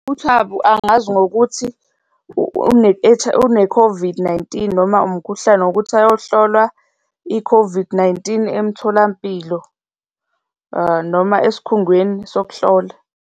UThabu angazi ngokuthi une-COVID-19 noma umkhuhlane ngokuthi ayohlolwa i-COVID-19 emtholampilo noma esikhungweni sokuhlola.